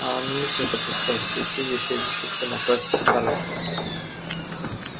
а он и мысли не допускал что чудище решится напасть на старосту